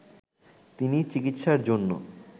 তিনি চিকিৎসার জন্য